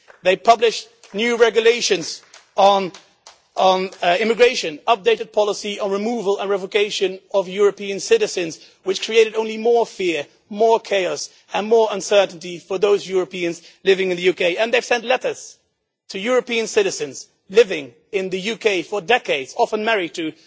They have published new regulations on immigration and updated policy on the removal and revocation of European citizens, which has only created more fear, more chaos and more uncertainty for those Europeans living in the UK. They have sent letters to European citizens living in the UK for decades, often married to